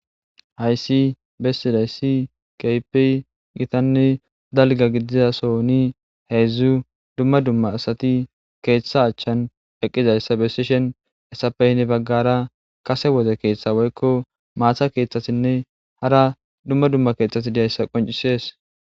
hayssi bessidayissi keypi gitanne dalga gidizasoni heedzdzu dumma dumma asati keeththa achchan eqqizayssa besishen esapeyne baggara kase woze keeththa woykko maatha keeththasinne hara dumma dumma keeththati diyayssa qoncisees